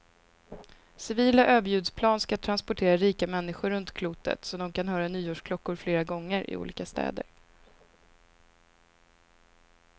Civila överljudsplan ska transportera rika människor runt klotet så de kan höra nyårsklockor flera gånger, i olika städer.